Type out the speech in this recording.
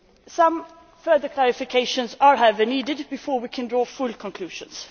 Some further clarifications are, however, needed before we can draw full conclusions.